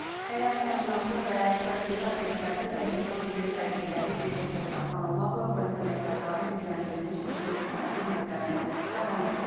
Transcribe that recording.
Həyat təminatlı və strateji obyektlərdə təhlükəsizlik tədbirləri diqqətdə saxlanılmaqla polis əməkdaşları gücləndirilmiş iş rejimində xidmətlərini davam etdirəcəklər.